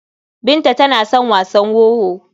Binta tana son wasan wowo.